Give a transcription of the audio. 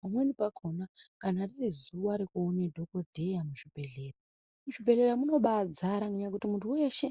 Pamweni pakona kana riri zuva nekuona dhokodheya muzvibhedhlera, muzvibhedhlera munobaa zara nenyaya yekuti muntu weshe